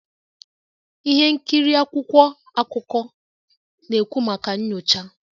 Ihe nkiri akwụkwọ akụkọ na-ekwu maka nyocha